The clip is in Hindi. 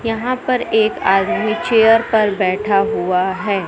यहां पर एक आदमी चेयर पर बैठा हुआ है।